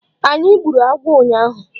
Anyị gburu agwọ ụnyaahụ.